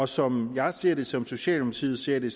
som jeg ser det som socialdemokratiet ser det